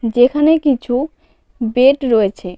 যেখানে কিছু বেড রয়েছে.